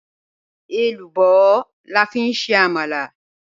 Ẹlúbọ̀ làfi n ṣe àmàlà